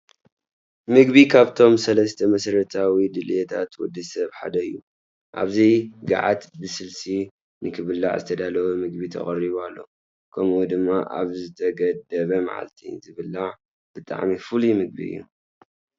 ምግቢ ካብቶም ሰለስተ መሰረታዊ ድልየታት ወዲ ሰብ ሓደ እዩ፡፡ ኣብዚ ጋዓት ብስልሲ ንኽብላዕ ዝተዳለወ ምግቢ ተቐሪቡ ኣሎ፡፡ ከምኡ ድማ ኣብ ዝተገደበ ማዓልቲ ዝብላዕ ብጣዕሚ ፍሉይ ምግቢ እዩ፡፡